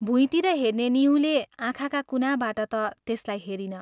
भुइँतिर हेर्ने निहुँले आँखाका कुनाबाट ता त्यसलाई हेरिन।